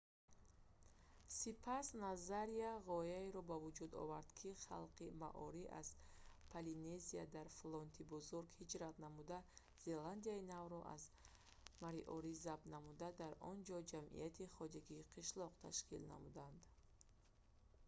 сипас назария ғояеро ба вуҷуд овард ки халқи маори аз полинезия дар флоти бузург ҳиҷрат намуда зеландияи навро аз мориори забт намуда дар он ҷо ҷамъияти хоҷагии қишлоқро ташкил намуд